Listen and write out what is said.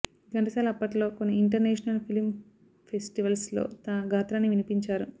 ఘంటసాల అప్పట్లో కొన్ని international film festivals లో తన గాత్రాన్ని వినిపించారు